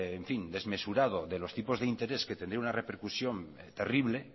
desmesurado de los tipos de interés que tendría una repercusión terrible